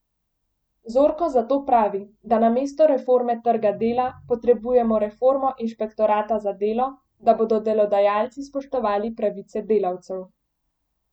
Zorko zato pravi, da namesto reforme trga dela potrebujemo reformo inšpektorata za delo, da bodo delodajalci spoštovali pravice delavcev.